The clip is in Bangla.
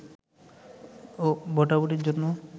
ও ভোটাভুটির জন্য